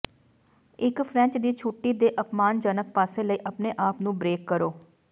ਇੱਕ ਫ੍ਰੈਂਚ ਦੀ ਛੁੱਟੀ ਦੇ ਅਪਮਾਨਜਨਕ ਪਾਸੇ ਲਈ ਆਪਣੇ ਆਪ ਨੂੰ ਬ੍ਰੇਕ ਕਰੋ